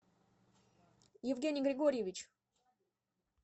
евгений григорьевич